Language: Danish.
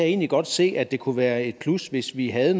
egentlig godt se at det kunne være et plus hvis vi havde